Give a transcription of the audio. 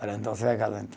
Falei, então você vai